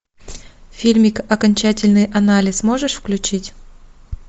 фильмик окончательный анализ можешь включить